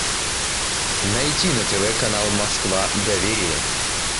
найти на тв канал москва доверие